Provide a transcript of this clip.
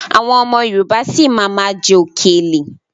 Àwọn ọmọ Yorùbá si má ma jẹ okèlè.